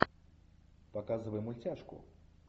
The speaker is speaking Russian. показывай мультяшку